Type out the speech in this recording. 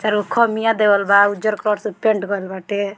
चारगो खम्बिया देवल बा उज्जर कलर से पेंट कइल बाटे।